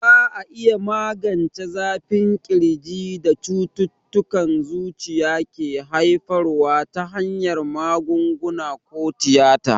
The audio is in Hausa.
Za a iya magance zafin ƙirjin da cututtukan zuciya ke haifarwa ta hanyar magunguna ko tiyata.